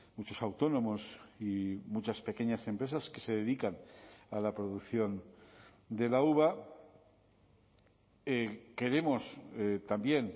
muchos autónomos y muchas pequeñas empresas que se dedican a la producción de la uva queremos también